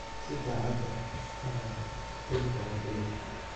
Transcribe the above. Si daacad ah u hadlo, Felix waa Felix.